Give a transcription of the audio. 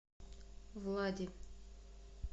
влади